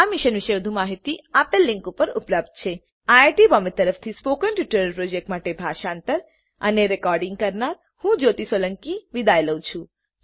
આ મિશન પર વધુ માહીતી આપેલ લીંક પર ઉપલબ્ધ છે httpspoken tutorialorgNMEICT Intro iit Bombay તરફથી સ્પોકન ટ્યુટોરીયલ પ્રોજેક્ટ માટે ભાષાંતર કરનાર હું જ્યોતી સોલંકી વિદાય લઉં છું